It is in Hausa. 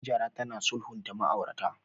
Hajara tana sulhunta ma'aurata.